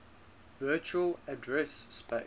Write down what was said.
virtual address space